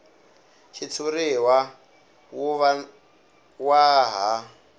xitshuriwa wu va wa ha